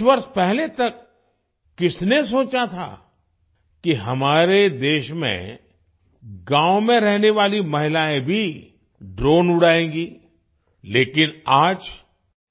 कुछ वर्ष पहले तक किसने सोचा था कि हमारे देश में गाँव में रहने वाली महिलायें भी ड्रोन उड़ाएंगी लेकिन आज